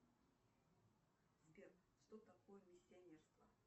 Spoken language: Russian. сбер что такое миссионерство